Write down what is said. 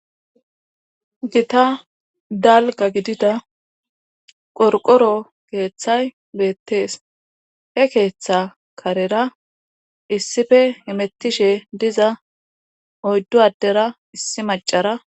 Gita dalga gidida qorqoro keeththay beettees he keeththa karera issife imettishe diza oyddu addera issi macara.